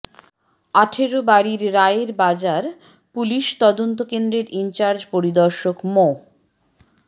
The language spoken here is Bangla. আঠারবাড়ির রায়ের বাজার পুলিশ তদন্ত কেন্দ্রের ইনচার্জ পরিদর্শক মো